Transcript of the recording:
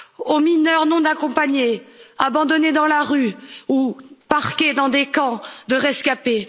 aux mineurs non accompagnés, abandonnés dans la rue ou parqués dans des camps de rescapés